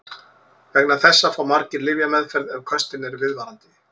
Vegna þessa fá margir lyfjameðferð ef köstin eru viðvarandi.